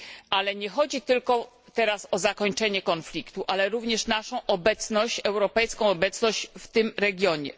Ale nie chodzi teraz tylko o zakończenie konfliktu, ale również o naszą europejską obecność w tym regionie.